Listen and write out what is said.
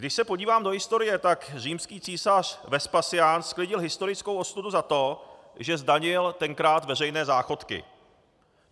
Když se podívám do historie, tak římský císař Vespasián sklidil historickou ostudu za to, že zdanil tenkrát veřejné záchodky.